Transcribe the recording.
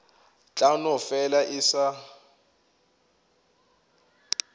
tla no fela e sa